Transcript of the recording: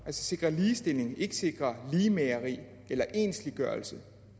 sikre ligestilling ikke sikre ligemageri eller ensliggørelse